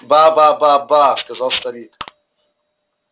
ба ба ба ба сказал старик